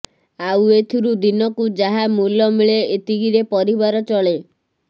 ଆଉ ଏଥିରୁ ଦିନକୁ ଯାହା ମୂଲ ମିଳେ ଏତିକିରେ ପରିବାର ଚଳେ